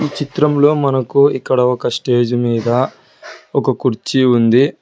ఈ చిత్రంలో మనకు ఇక్కడ ఒక స్టేజి మీద ఒక కుర్చీ ఉంది.